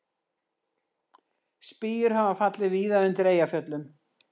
Spýjur hafa fallið víða undir Eyjafjöllum